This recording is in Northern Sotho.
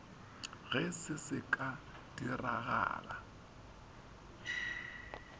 ge se se ka diragala